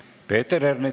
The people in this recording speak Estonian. Peeter Ernits.